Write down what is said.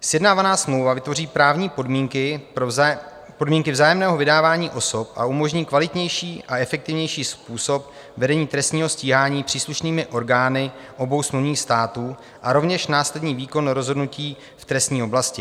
Sjednávaná smlouva vytvoří právní podmínky vzájemného vydávání osob a umožní kvalitnější a efektivnější způsob vedení trestního stíhání příslušnými orgány obou smluvních států a rovněž následný výkon rozhodnutí v trestní oblasti.